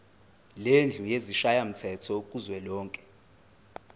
lendlu yesishayamthetho kuzwelonke